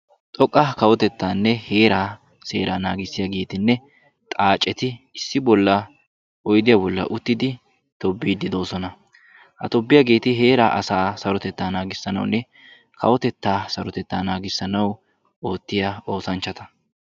xoqqa Kawotettanne heera seera naagissiyagettinne xaaceti issi bolla oyidiya bolla uttiddi tobbiiddi doosona. Ha tobbiyageeti heera asaa sarotetaa naagissanawunne kawotetaa naagissanawu oottiya oossanchchatta.